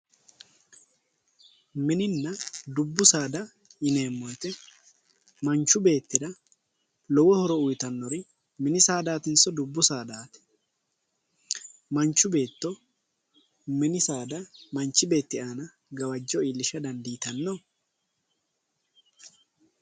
Mininna dubbu saada yineemmo woyite manchu beettira lowo horo uyitannori mini saadaatinso dubbu saadaati manchu beetto mini saada manchi beetti aana gawajjo iillisha dandiitanno